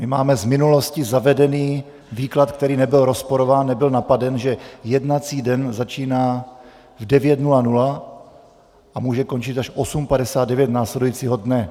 My máme z minulosti zavedený výklad, který nebyl rozporován, nebyl napaden, že jednací den začíná v 9.00 a může končit až v 8.59 následujícího dne.